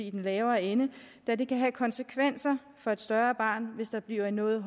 i den lavere ende da det kan have konsekvenser for et større barn hvis der bliver en noget